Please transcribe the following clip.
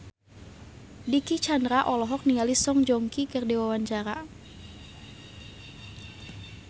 Dicky Chandra olohok ningali Song Joong Ki keur diwawancara